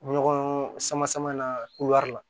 Ɲɔgɔn sama sama na kuwa